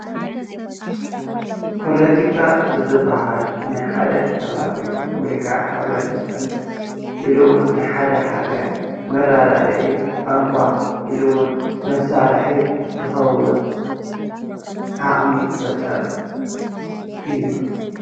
ፓለቲካ ዝብሃል ናይ ሓደ ከባቢ ወይ ሕብረተሰብ ወይ ሃገር መረዳድኢ ቋንቋ ኢሉ እዉን መሳርሒ ዓቅሚ ዝፈጥር እዩ።